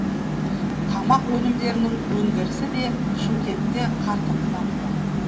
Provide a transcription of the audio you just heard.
тамақ өнімдерінің өндірісі де шымкентте қарқынды дамуда